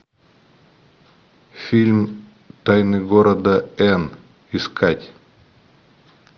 фильм тайны города эн искать